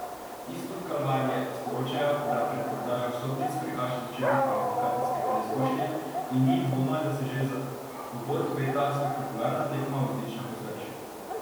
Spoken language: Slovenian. Izpod Kalvarije sporočajo, da predprodaja vstopnic prekaša začetne kvalifikacijske preizkušnje, in ni dvoma, da se že za uvod obeta spektakularna tekma v odličnem ozračju.